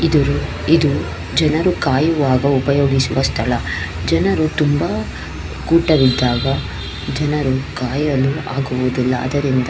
ಇದು ಇದು ಜನರು ಕಾಯುವಾಗ ಉಪಯೋಗಿಸುವ ಸ್ಥಳ ಜನರು ತುಂಬಾ ಕೂಟವಿದ್ದಾಗ ಜನರು ಕಾಯಲು ಆಗುವುದಿಲ್ಲ ಅದರಿಂದ --